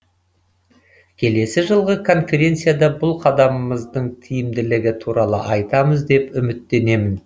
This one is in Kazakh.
келесі жылғы конференцияда бұл қадамымыздың тиімділігі туралы айтамыз деп үміттенемін